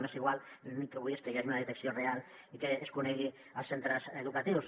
m’és igual jo l’únic que vull és que hi hagi una detecció real i que es conegui als centres educatius